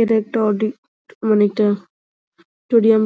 এটা একটা অডী মানে একটা টোরিয়াম